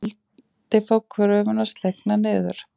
Vildi fá kröfuna slegna niður